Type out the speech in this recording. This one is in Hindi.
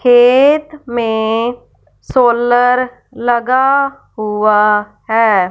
खेत में सोलर लगा हुआ हैं।